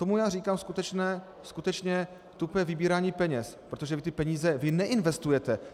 Tomu já říkám skutečně tupé vybírání peněz, protože vy ty peníze neinvestujete.